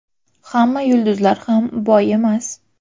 Hamma yulduzlar ham boy emas.